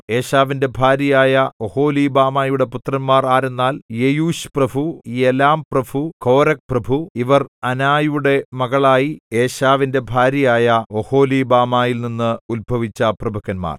ഏശാവിന്റെ ഭാര്യയായ ഒഹൊലീബാമായുടെ പുത്രന്മാർ ആരെന്നാൽ യെയൂശ്പ്രഭു യലാംപ്രഭു കോരഹ്പ്രഭു ഇവർ അനായുടെ മകളായി ഏശാവിന്റെ ഭാര്യയായ ഒഹൊലീബാമായിൽ നിന്ന് ഉത്ഭവിച്ച പ്രഭുക്കന്മാർ